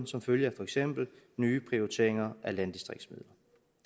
som følge af for eksempel nye prioriteringer af landdistriktsmidler